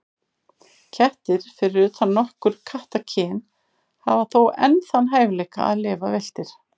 Kettir, fyrir utan nokkur kattakyn, hafa þó enn þann hæfileika að lifa villtir.